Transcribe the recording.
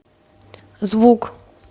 звук